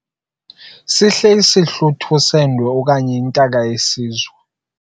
Sihle isihlwitha sendwe okanye intaka yesizwe.